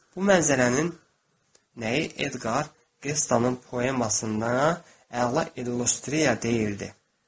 Bu mənzərənin nəyi Edqar Qestanun poemasında əla illüstriya deyirdi.